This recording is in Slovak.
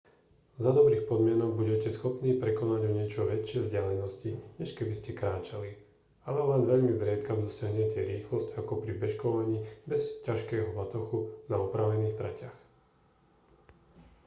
za dobrých podmienok budete schopní prekonať o niečo väčšie vzdialenosti než keby ste kráčali ale len veľmi zriedka dosiahnete rýchlosť ako pri bežkovaní bez ťažkého batohu na upravených tratiach